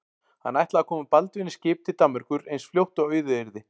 Hann ætlaði að koma Baldvini í skip til Danmerkur eins fljótt og auðið yrði.